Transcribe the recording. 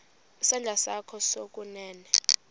isandla sakho sokunene